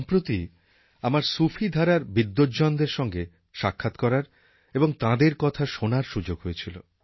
সম্প্রতি আমার সুফি ধারার বিদ্বজ্জনদের সঙ্গে সাক্ষাৎ করার এবং তাঁদের কথা শোনার সুযোগ হয়েছিল